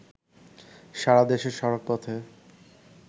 সারাদেশে সড়কপথে